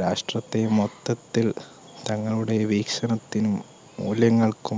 രാഷ്ട്രത്തെ മൊത്തത്തിൽ തങ്ങളുടെ വീക്ഷണത്തിനും മൂല്യങ്ങൾക്കും